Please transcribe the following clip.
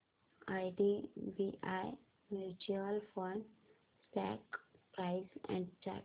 IDBI mutual fund stock price and chart